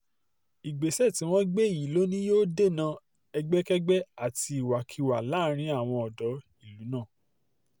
ìgbésẹ̀ tí wọ́n gbé yìí lọ ni yóò dènà ẹgbẹ́kẹ́gbẹ́ àti ìwàkiwà láàrin àwọn odò ìlú náà